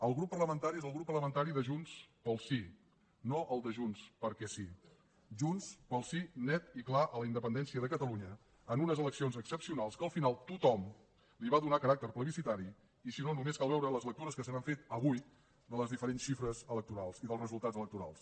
el grup parlamentari és el grup parlamentari de junts pel sí no el de junts perquè sí junts pel sí net i clar a la independència de catalunya en unes eleccions excepcionals que al final tothom hi va donar caràcter plebiscitari i si no només cal veure les lectures que se n’han fet avui de les diferents xifres electorals i dels resultats electorals